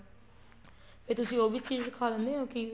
ਫ਼ੇਰ ਤੁਸੀਂ ਉਹ ਵੀ ਚੀਜ਼ ਸਿਖਾ ਦਿੰਨੇ ਹੋ ਕੀ